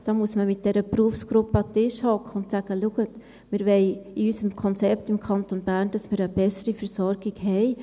Da muss man mit dieser Berufsgruppe an den Tisch sitzen und sagen: «Schauen Sie, wir wollen in unserem Konzept im Kanton Bern, dass wir eine bessere Versorgung haben.